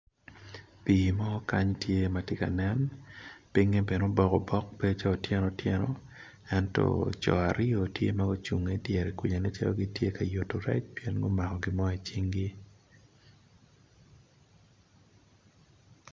Pii mo tye ka nen piny obedo otyeno otyeno ento co aryo tye ma gucung idyer nen calo gitye ka mako rec